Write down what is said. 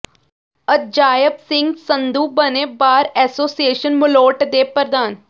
ਅਜਾਇਬ ਸਿੰਘ ਸੰਧੂ ਬਣੇ bar association Malout ਦੇ ਪ੍ਰਧਾਨ